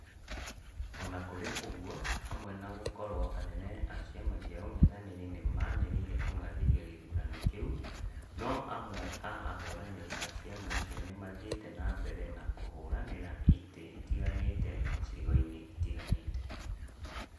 Ona kũrĩ ũguo, hamwe na gũkorwo anene a ciama cia ung'ethanũri nĩmanĩrĩire kung'athĩria gĩthurano kĩu, no amwe a ahũranĩri a ciama icio nĩmathiĩte na mbere na kũhũranĩra itĩ itiganite icigo-inĩ itiganĩte